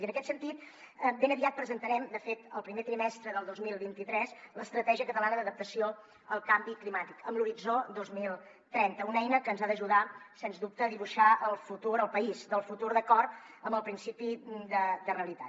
i en aquest sentit ben aviat presentarem de fet el primer trimestre del dos mil vint tres l’estratègia catalana d’adaptació al canvi climàtic amb l’horitzó dos mil trenta una eina que ens ha d’ajudar sens dubte a dibuixar el futur el país del futur d’acord amb el principi de realitat